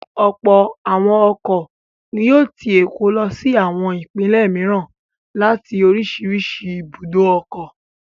Ọ̀pọ̀ àwọn ọkọ̀ ni yóò ti Èkó lọ sí àwọn ìpínlẹ̀ mìíràn láti oríṣiríṣi ibùdó ọkọ̀.